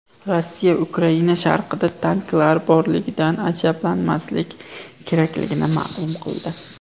Rossiya Ukraina sharqida tanklar borligidan ajablanmaslik kerakligini ma’lum qildi.